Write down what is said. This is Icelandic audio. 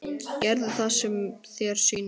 Gerðu það sem þér sýnist.